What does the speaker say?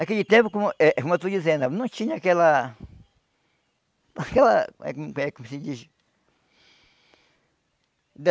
Naquele tempo, como eh como eu estou dizendo, não tinha aquela... aquela... eh hum eh como é que se diz?